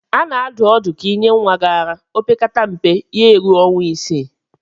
A na-adụ ọdụ ka ị nye nwa gị ara opekata mpe ya-eruo ọnwa isii.